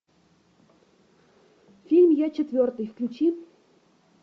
фильм я четвертый включи